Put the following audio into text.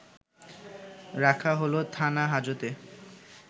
রাখা হলো থানা-হাজতে